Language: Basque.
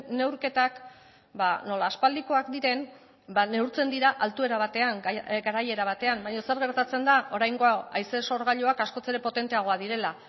neurketak nola aspaldikoak diren neurtzen dira altuera batean garaiera batean baina zer gertatzen da oraingo hau haize sorgailuak askoz ere potenteagoak direla